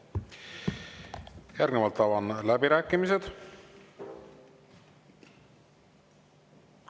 Järgnevalt avan läbirääkimised.